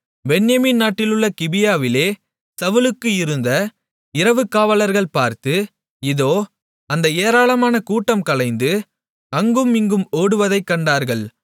பென்யமீன் நாட்டிலுள்ள கிபியாவிலே சவுலுக்கு இருந்த இரவுக்காவலர்கள் பார்த்து இதோ அந்த ஏராளமான கூட்டம் கலைந்து அங்கும் இங்கும் ஓடுவதைக் கண்டார்கள்